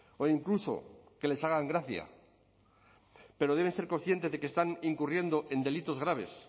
o incluso que les hagan gracia pero deben ser conscientes de que están incurriendo en delitos graves